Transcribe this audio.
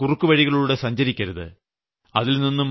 നമ്മൾ ഇങ്ങനെയുള്ള കുറുക്കുവഴികളിലൂടെ സഞ്ചരിക്കരുത്